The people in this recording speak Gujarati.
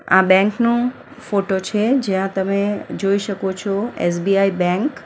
આ બેંક નું ફોટો છે જ્યાં તમે જોઈ શકો છો એસ_બી_આઇ બેન્ક .